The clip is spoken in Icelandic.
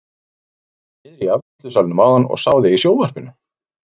Ég var niðri í afgreiðslusalnum áðan og sá þig í sjónvarpinu!